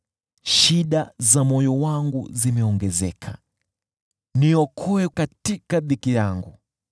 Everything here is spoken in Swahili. Shida za moyo wangu zimeongezeka, niokoe katika dhiki yangu.